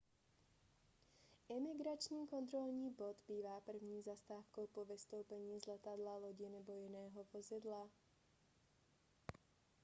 imigrační kontrolní bod bývá první zastávkou po vystoupení z letadla lodi nebo jiného vozidla